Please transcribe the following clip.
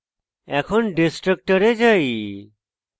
এখন destructors যাই